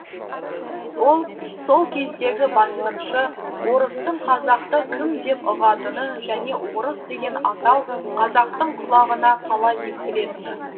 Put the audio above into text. ол сол кездегі басқыншы орыстың қазақты кім деп ұғатыны және орыс деген атау қазақтың құлағына қалай естілетіні